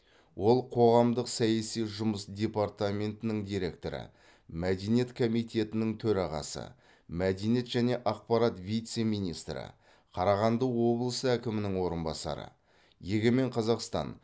ол қоғамдық саяси жұмыс департаментінің директоры мәдениет комитетінің төрағасы мәдениет және ақпарат вице министрі қарағанды облысы әкімінің орынбасары егемен қазақстан